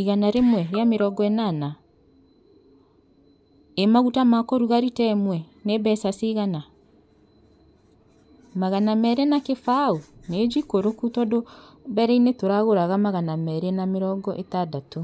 Igana rĩmwe rĩa mirongo ĩnana. Ĩ maguta ma kũruga rita ĩmwe nĩ mbeca cigana? Magana merĩ na kĩbaũ, nĩ njikũrũku tondũ mbere-inĩ tũraguraga magana merĩ na mirongo ĩtandatũ.